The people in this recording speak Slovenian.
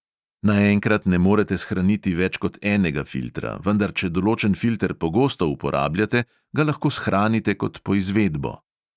Naenkrat ne morete shraniti več kot enega filtra, vendar če določen filter pogosto uporabljate, ga lahko shranite kot poizvedbo.